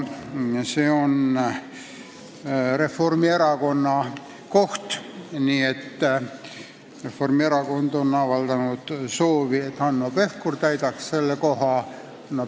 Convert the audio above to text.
See on Reformierakonna koht ja Reformierakond ise on avaldanud soovi, et selle koha täidaks Hanno Pevkur.